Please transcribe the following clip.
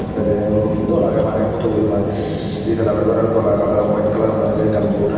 ekka je dol agey maney photoboyo maney ditalla guri gorano dol agey kalaran white kalaror maney je ekkan bot agey.